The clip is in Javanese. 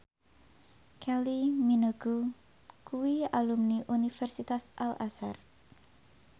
Kylie Minogue kuwi alumni Universitas Al Azhar